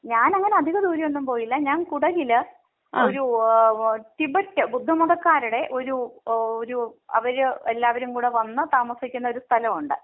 ഞാനങ്ങനെ അധിക ദൂരെയൊന്നും പോയില്ല. ഞാൻ കുടകില് ഒരു ടിബെറ്റ് ബുദ്ധമതക്കാരുടെ ഒരു ഒരു അവർ എല്ലാവരും കൂടി വന്ന് താമസിക്കുന്ന ഒരു സ്ഥലം ഉണ്ട്.